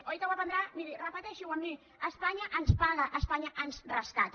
oi que ho aprendrà miri repeteixi ho amb mi espanya ens paga espanya ens rescata